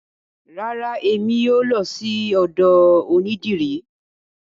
Rara, emi o lọ sí ọ̀dọ onídìrí.